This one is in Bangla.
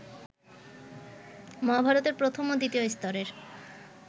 মহাভারতের প্রথম ও দ্বিতীয় স্তরের